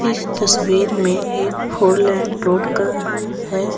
इस तस्वीर में एक फोर लाइन रोड का है।